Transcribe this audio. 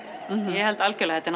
ég held það algjörlega þetta